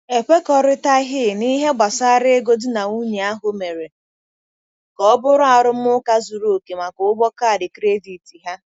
Ekwekọrịtaghị n'ihe gbasara ego di na nwunye ahụ mere ka ọ bụrụ arụmụka zuru oke maka ụgwọ kaadị kredit ha.